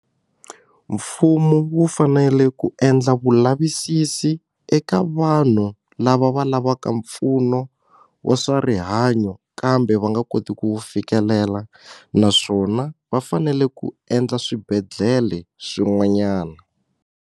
Mfumu wu fanele ku endla vulavisisi eka vanhu lava va lavaka mpfuno wa swa rihanyo kambe va nga koti ku fikelela naswona va fanele ku endla swibedhlele swin'wanyana.